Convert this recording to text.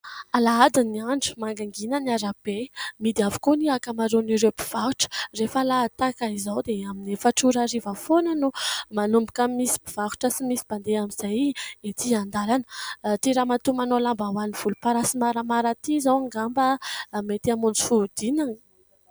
Alahady ny andro, mangingina ny arabe, mihidy avokoa ny ankamaroan'ireo mpivarotra. Rehefa alahady tahak'izao dia amin'ny efatra ora hariva foana no manomboka misy mpivarotra sy misy mpandeha amin'izay ety an-dàlana. Ity ramatoa manao lambahoany volomparasy maramara ity izao angamba mety hamonjy fodina.